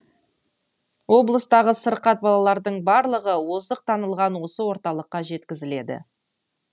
облыстағы сырқат балалардың барлығы озық танылған осы орталыққа жеткізіледі